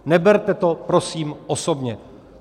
Neberte to prosím osobně.